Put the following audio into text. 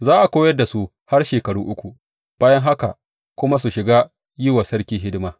Za a koyar da su har shekaru uku, bayan haka kuma su shiga yin wa sarki hidima.